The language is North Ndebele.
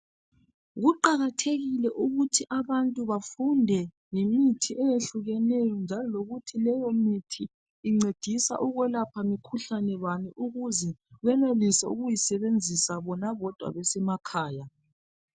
Kuqakathekile ukuthi abantu bafunde ngemithi eyehlukeneyo njalo lokuthi leyo mithi incedisa ukwelapha mikhuhlane bani ukuze benelise ukuyisebenzisa bona bodwa besemakhaya.